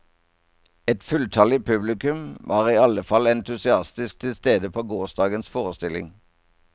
Et fulltallig publikum var i alle fall entusiastisk tilstede på gårsdagens forestilling.